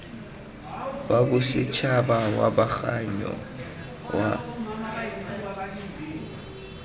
wa bosetšhaba wa kgabaganyo wa